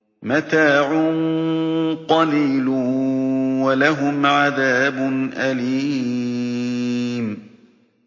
مَتَاعٌ قَلِيلٌ وَلَهُمْ عَذَابٌ أَلِيمٌ